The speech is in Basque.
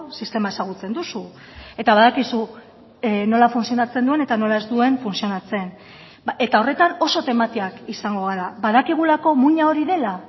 sistema ezagutzen duzu eta badakizu nola funtzionatzen duen eta nola ez duen funtzionatzen eta horretan oso tematiak izango gara badakigulako muina hori dela